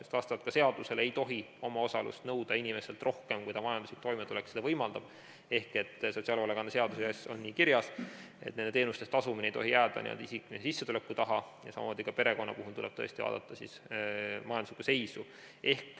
Ka vastavalt seadusele ei tohi omaosalust nõuda inimeselt rohkem, kui ta majanduslik toimetulek võimaldab, sotsiaalhoolekande seaduses on nii kirjas, et nende teenuste eest tasumine ei tohi jääda n-ö isikliku sissetuleku taha ja samamoodi ka perekonna puhul tuleb tõesti vaadata majanduslikku seisu.